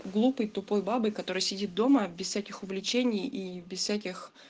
глупой тупой бабой которая сидит дома без всяких увлечений и без всяких